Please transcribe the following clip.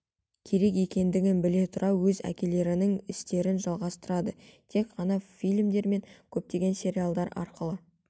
керек екендігін біле тұра өз әкелерінің істерін жалғастырады тек ғана фильмдер мен көптеген сериалдар арқылы